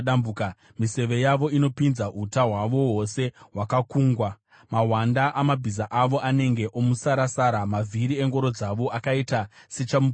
Miseve yavo inopinza, uta hwavo hwose hwakakungwa; mahwanda amabhiza avo anenge omusarasara, mavhiri engoro dzavo akaita sechamupupuri.